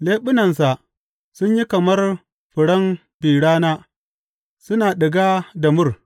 Leɓunansa sun yi kamar furen bi rana suna ɗiga da mur.